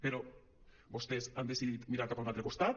però vostès han decidit mirar cap a un altre costat